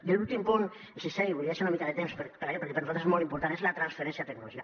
i l’últim punt el sisè li volia deixar una mica de temps perquè per nosaltres és molt important és la transferència tecnològica